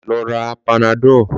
Lọ ra Panadọ̀